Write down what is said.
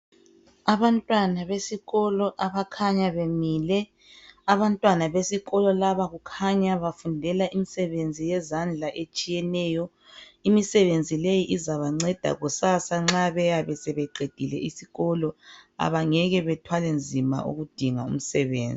abantwana besikolo abakhanya bemile abantwana besikolo laba kukhanya befundela imisebenzi yezandla etshiyeneyo imisebenzi leyi izabanceda kusasa nxa beyabe sebeqedile isikolo abangeke bathwale nzima ukudinga imisebenzi